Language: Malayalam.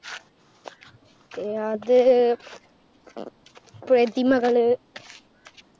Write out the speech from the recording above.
അ~ത് പ്രതിമകള്